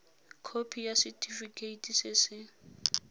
khopi ya setefikeiti se se